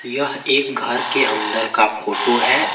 यह एक घर के अंदर का फोटो है।